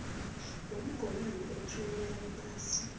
womgomani othuwelela iphasi